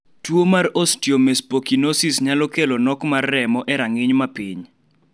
tuo mar Osteomesopyknosis nyalo kelo tok ma remo e rang'iny mapiny